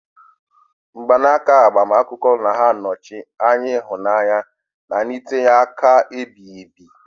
Mgbanaka agbamakwụkwọ na-anọchi anya ịhụnanya na ntinye aka ebighị ebi.